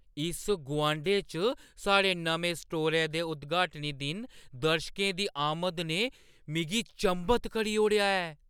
इस गुआंढै च साढ़े नमें स्टोरै दे उद्‌घानी दिन दर्शकें दी आमद ने मिगी चंभत करी ओड़ेआ ऐ।